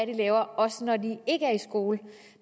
de laver også når de ikke er i skole